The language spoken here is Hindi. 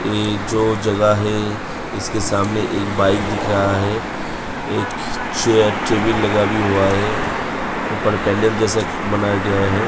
ये जो जगह है इसके सामने एक बाइक दिख रहा है। एक चेयर टेबिल लगा भी हुआ है। ऊपर पैनल जैसा बनाया गया हैं।